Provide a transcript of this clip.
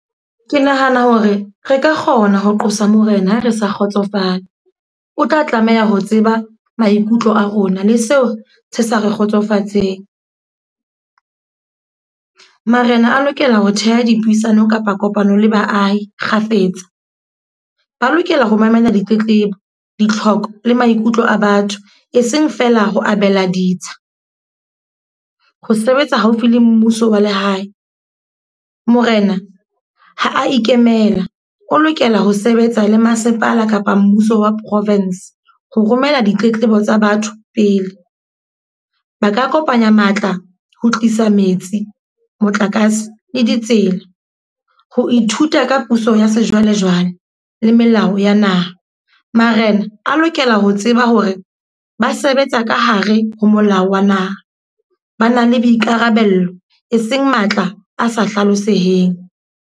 Ke nahana hore re ka kgona ho qosa Morena ha re sa kgotsofala. O tla tlameha ho tseba maikutlo a rona le seo se sa re kgotsofatseng. Marena a lokela ho theha dipuisano kapa kopano le baahi kgafetsa. Ba lokela ho mamela ditletlebo, ditlhoko le maikutlo a batho. E seng fela ho abela ditsha, ho sebetsa haufi le mmuso wa lehae. Morena ha a ikemela, o lokela ho sebetsa le masepala kapa mmuso wa province ho romela ditletlebo tsa batho pele. Ba ka kopanya matla ho tlisa metsi, motlakase le ditsela. Ho ithuta ka puso ya sejwalejwale le melao ya naha. Marena a lokela ho tseba hore ba sebetsa ka hare ho molao wa naha. Ba na le boikarabello e seng matla a sa hlaloseheng.